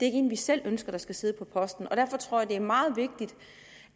ikke en vi selv ønsker skal sidde på posten derfor tror jeg at det er meget vigtigt